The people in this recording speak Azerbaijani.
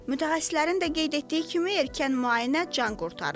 Mütəxəssislərin də qeyd etdiyi kimi erkən müayinə can qurtarır.